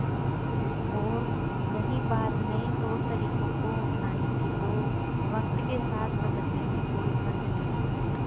और रही बात नए तौरतरीकों को अपनाने की तो वक्त के साथ बदलने में कोई हर्ज नहीं